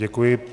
Děkuji.